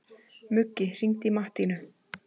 Muggi, hringdu í Mattínu.